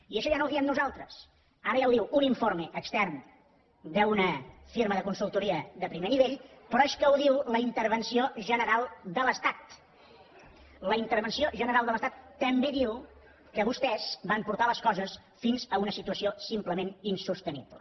i això ja no ho diem nosaltres ara ja ho diu un informe extern d’una firma de consultoria de primer nivell però és que ho diu la intervenció general de l’estat la intervenció general de l’estat també diu que vostès van portar les coses fins a una situació simplement insostenible